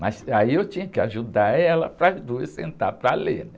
Mas aí eu tinha que ajudar ela para as duas sentarem para ler, né?